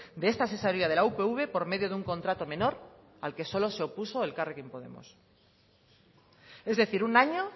de esta asesoría de la upv por medio de un contrato menor al que solo se opuso elkarrekin podemos es decir un año